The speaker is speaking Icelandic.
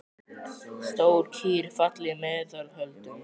Stór kýr, falleg í meðal holdum.